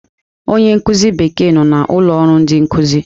Onye nkuzi Bekee nọ na ụlọ ọrụ ndị nkụzi.